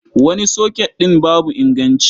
Wani soket ɗin babu inganci.